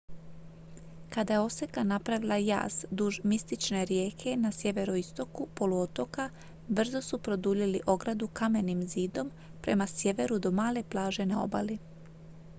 kada je oseka napravila jaz duž mistične rijeke na sjeveroistoku poluotoka brzo su produljili ogradu kamenim zidom prema sjeveru do male plaže na obali